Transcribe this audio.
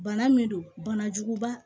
Bana min don banajuguba